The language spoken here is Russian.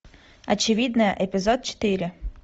очевидное эпизод четыре